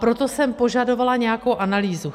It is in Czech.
Proto jsem požadovala nějakou analýzu.